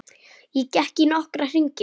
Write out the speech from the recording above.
Ég gekk í nokkra hringi.